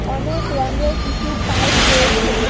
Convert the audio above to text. অনেক রঙের কিছু পাইপ রয়েছে।